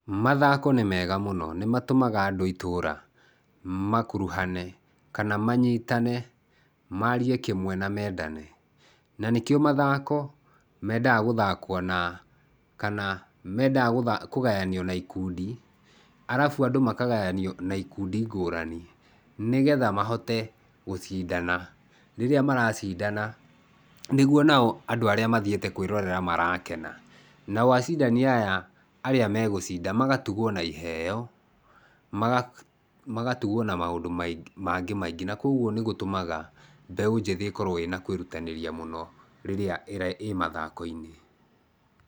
Mathako nĩ mega mũno, nĩmatũmaga andũ a itũra makuruhane kana manyĩtane, marie kĩmwe na mendane. Na nĩkĩo mathako mendaga gũthakwo na kana mendaga kũgayanio na ikundi arabu andũ makagayanio na ikundi ngũrani nĩgetha mahote gũcindana. Rĩrĩa maracindana, nĩguo nao andũ arĩa mathiĩte kwĩrorera marakena, nao acindani aya arĩa megũcinda magatugwo na iheo, magatugwo na maũndũ mangĩ maingĩ na kwoguo nĩ gũtũmaga mbeũ njĩthĩ ĩkorwo ĩna kwĩrutanĩria mũno rĩrĩa ĩ mathako-inĩ.